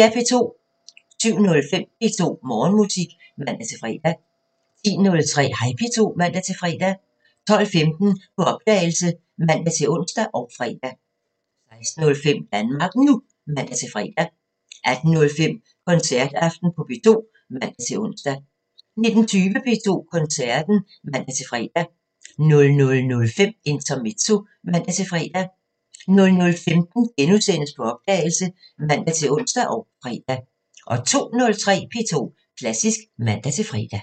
07:05: P2 Morgenmusik (man-fre) 10:03: Hej P2 (man-fre) 12:15: På opdagelse (man-ons og fre) 16:05: Danmark NU (man-fre) 18:05: Koncertaften på P2 (man-ons) 19:20: P2 Koncerten (man-fre) 00:05: Intermezzo (man-fre) 00:15: På opdagelse *(man-ons og fre) 02:03: P2 Klassisk (man-fre)